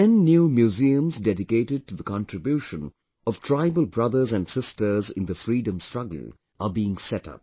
Ten new museums dedicated to the contribution of tribal brothers and sisters in the freedom struggle are being set up